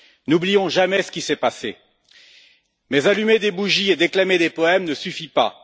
N'oublions jamais ce qui s'est passé, mais allumer des bougies et déclamer des poèmes ne suffit pas.